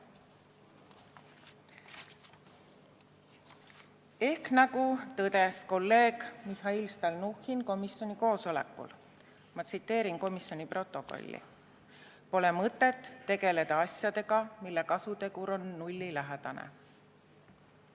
Ehk nagu tõdes kolleeg Mihhail Stalnuhhin komisjoni koosolekul – ma tsiteerin komisjoni protokolli: "Ei ole mõtet tegeleda asjadega, mille kasutegur on nullilähedane.